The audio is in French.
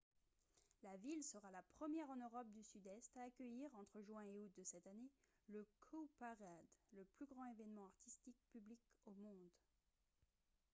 la ville sera la première en europe du sud-est à accueillir entre juin et août de cette année le cowparade le plus grand événement artistique public au monde